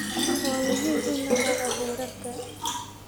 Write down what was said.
Waa muhiim in la raaco heerarka.